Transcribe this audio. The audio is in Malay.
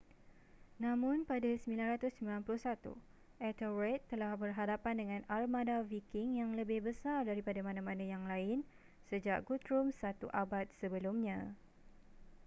namun pada 991 ethelred telah berhadapan dengan armada viking yang lebih besar daripada mana-mana yang lain sejak guthrum satu abad sebelumnya